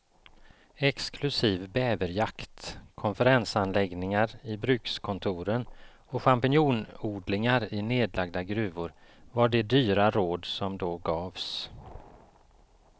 Exklusiv bäverjakt, konferensanläggningar i brukskontoren och champinjonodlingar i nedlagda gruvor var de dyra råd som då gavs.